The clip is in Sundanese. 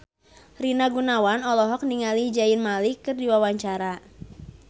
Rina Gunawan olohok ningali Zayn Malik keur diwawancara